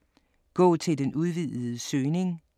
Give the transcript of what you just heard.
Gå til den udvidede søgning